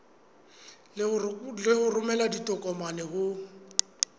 le ho romela ditokomane ho